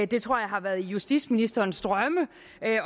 det tror jeg har været i justitsministerens drømme